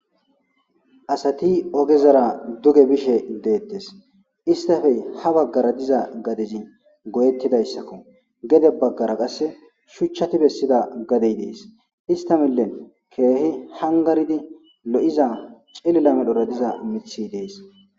asati ogezara duge bishe deettes istafey ha baggara diza gadezi goyettidayssakko gede baggara qasse shuchchati bessida gadey dees ista millen keehi hangaridi lo7iza celilamedhora diza mithi dees